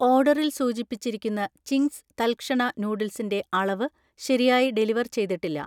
ഓർഡറിൽ സൂചിപ്പിച്ചിരിക്കുന്ന ചിംഗ്സ് തൽക്ഷണ നൂഡിൽസിന്റെ അളവ് ശരിയായി ഡെലിവർ ചെയ്തിട്ടില്ല